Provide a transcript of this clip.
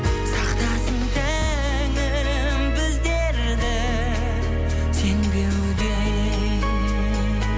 сақтасын тәңірім біздерді сенбеуден